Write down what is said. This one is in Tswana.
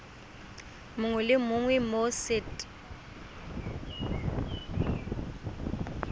mongwe le mongwe mo set